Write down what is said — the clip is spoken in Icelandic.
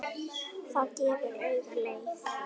Það gefur auga leið